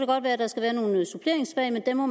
godt være at der skal være nogle suppleringsfag men det må